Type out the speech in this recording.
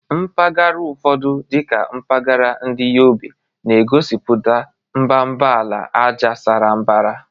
Mpaghara ụfọdụ, dị ka mpahara ndi Yobe, na-egosipụta mbara ala ájá sara mbara.